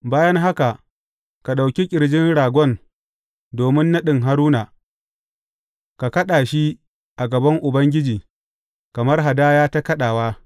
Bayan haka, ka ɗauki ƙirjin ragon domin naɗin Haruna, ka kaɗa shi a gaban Ubangiji kamar hadaya ta kaɗawa.